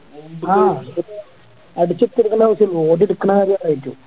അടിച്ചെടുക്കണ ആവശ്യള്ളു ഓടി എടുക്കണ കാര്യം അവരേറ്റു